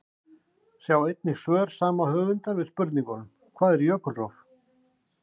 Sjá einnig svör sama höfundar við spurningunum: Hvað er jökulrof?